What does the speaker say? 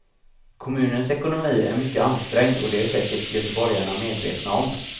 Kommunens ekonomi är mycket ansträngd och det är säkert göteborgarna medvetna om.